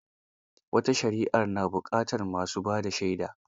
Wata shari'ar na buƙatar ma su ba da shaida.